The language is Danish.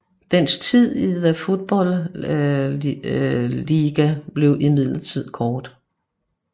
Dens tids i The Football League blev imidlertid kort